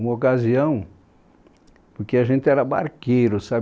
Uma ocasião, porque a gente era barqueiro, sabe?